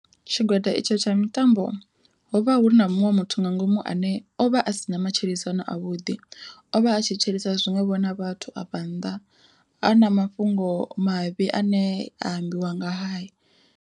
Tshigwada itsho tsha mitambo ho vha hu na muṅwe muthu nga ngomu ane o vha a sina matshilisano a vhuḓi, ovha a tshilisana zwiṅwevho na vhathu afha nnḓa a na mafhungo mavhi ane a ambiwa ngahae.